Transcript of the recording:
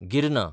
गिरना